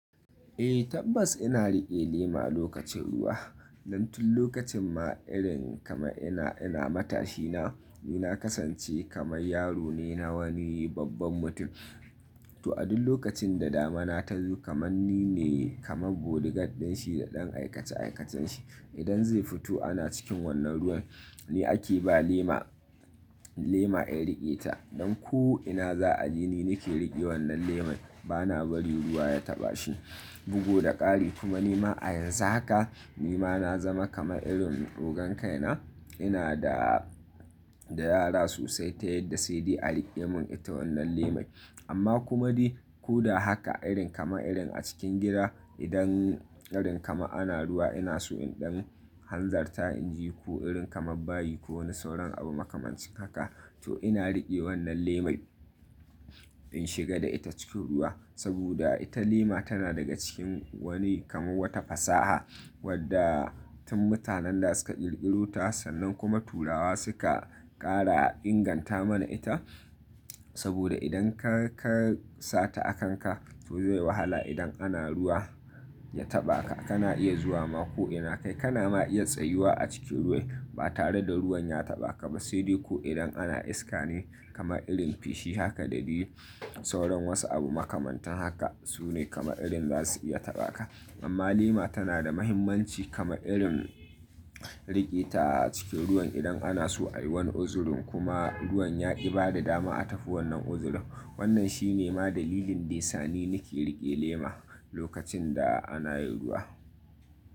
Eh tabbas ina riƙe lema lokacin ruwa. Dan tun lokacin ma irin kamar ina, ina matashi na, ni na kasance kamar yaro ne na wani babban mutum. To a duk lokacin da damina ta zo kamar nine kamar bodyguard din shi da ɗan aikace-aikacen shi. Idan zai fito ana cikin wannan ruwan ni ake ba lema, lema in riƙe ta. Don ko ina za a je ni nake riƙe wannan leman bana bari ruwa ya taɓa shi. Buga da ƙari kuma nima a yanzu haka nima na zama kamar irin ogon kai na, ina da, da yara sosai ta yadda sai dai a riƙe mun ita wannan lemai. Amma kuma dai ko da haka irin kamar irin a cikin gida idan irin kamar ana ruwa ina so in ɗan hanzarta inje ko irin kamar bayi ko wani sauran abu makamancin haka, to ina riƙe wannan lemai in shiga da ita cikin ruwa. Saboda ita lema tana daga cikin wani kamar wata fasaha wadda tun mutanen da suka ƙirƙiro ta sannan kuma turawa suka ƙara inganta mana ita. Saboda idan ka-ka sata a kanka to zai wahala idan ana ruwa ya taɓa ka, kana iya zuwa ma ko ina kai kana ma iya tsayuwa a cikin ruwai ba tare da ruwan ya taɓa ka ba. Sai dai ko idan ana iska ne kamar irin fishi haka da diyi sauran wasu abu makamantan haka sune kamar irin zasu iya taɓa ka. Amma lema tana da muhimmanci kamar irin riƙe ta a cikin ruwan idan ana so a yi wani uzurin kuma ruwan ya ƙi ba da dama a tafi wannan uzurin. Wannan shi ne ma dalilin dai sani nake riƙe lema lokacin da ana yin ruwa.